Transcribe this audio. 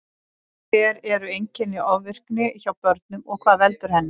Hver eru einkenni ofvirkni hjá börnum og hvað veldur henni?